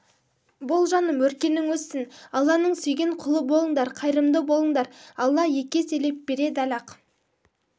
бол жаным өркенің өссін алланың сүйген құлы болыңдар қайырымды болыңдар алла екі еселеп береді лі-ақ